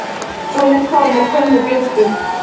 Sólin kom og hvarf með glömpum.